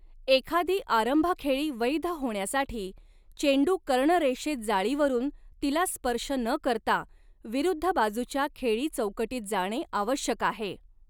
एखादी आरंभखेळी वैध होण्यासाठी, चेंडू कर्णरेषेत जाळीवरून तिला स्पर्श न करता विरुद्ध बाजूच्या खेळी चौकटीत जाणे आवश्यक आहे.